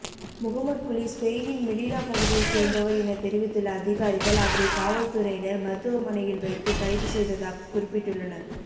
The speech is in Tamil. முகமட் குலி ஸ்பெயினின் மெலிலா பகுதியை சேர்ந்தவர் என தெரிவித்துள்ள அதிகாரிகள் அவரை காவல்துறையினர் மருத்துவமனையில் வைத்து கைதுசெய்ததாக குறிப்பிட்டுள்ளனர்